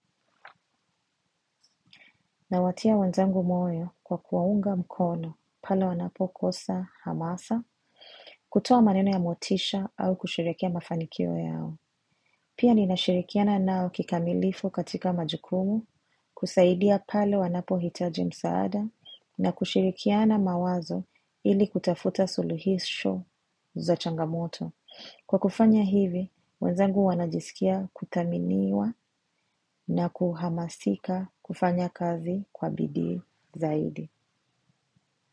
Nawatia wenzangu moyo kwa kuwaunga mkono pale wanapokosa hamasa, kutoa maneno ya motisha au kusherehekea mafanikio yao. Pia ninashirikiana nao kikamilifu katika majikumu, kusaidia pale wanapohitaji msaanda, na kushirikiana mawazo ili kutafuta suluhisho za changamoto. Kwa kufanya hivi, wenzangu wanajisikia kuthaminiwa na kuhamasika kufanya kazi kwa bidi zaidi.